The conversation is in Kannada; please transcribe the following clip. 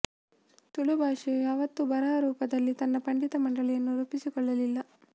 ತುಳು ಭಾಷೆಯು ಯಾವತ್ತೂ ಬರಹ ರೂಪದಲ್ಲಿ ತನ್ನ ಪಂಡಿತ ಮಂಡಳಿಯನ್ನು ರೂಪಿಸಿಕೊಳ್ಳಲಿಲ್ಲ